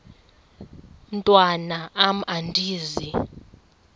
mntwan am andizi